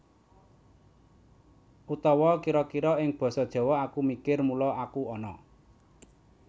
Utawa kira kira ing Basa Jawa Aku mikir mula aku ana